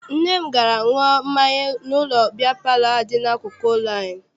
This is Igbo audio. Nna m gara ṅụrụ mmanya n'ụlọ biya palọ ahụ dị n'akụkụ ụlọ anyị.